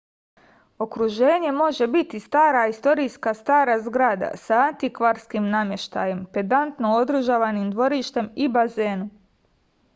okruženje može biti stara istorijska stara zgrada sa antikvarskim nameštajem pedantno održavanim dvorištem i bazenom